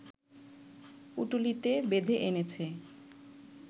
পুঁটুলিতে বেঁধে এনেছে